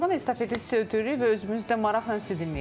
O zaman estafeti sizə ötürürük və özümüz də maraqla sizi dinləyəcəyik.